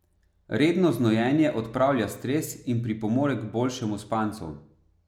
Redno znojenje odpravlja stres in pripomore k boljšemu spancu.